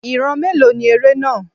Ìran mélòó ni eré náà?